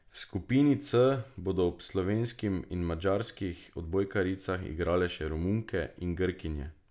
V skupini C bodo ob slovenskim in madžarskih odbojkaricah igrale še Romunke in Grkinje.